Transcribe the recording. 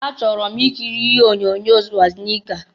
Achọrọ m ikiri onyoonyo Swazniga.